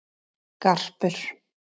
Garpur